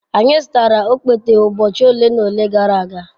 Anyị zụtara okpete ụbọchị ole na ole gara aga.